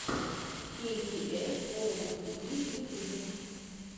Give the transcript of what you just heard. кей би эс ворлд ти ви в ютьюбе